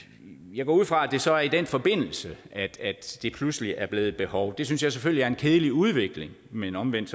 jeg går ud fra at det så er i den forbindelse at det pludselig er blevet et behov og det synes jeg selvfølgelig er en kedelig udvikling men omvendt